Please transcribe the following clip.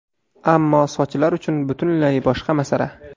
Ammo sochlar uchun butunlay boshqa masala.